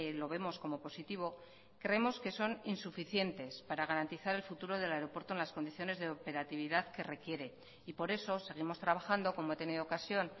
lo vemos como positivo creemos que son insuficientes para garantizar el futuro yy por eso seguimos trabajando como he tenido ocasión